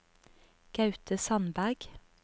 Gaute Sandberg